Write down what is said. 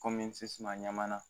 Kɔmi sissma ɲaman na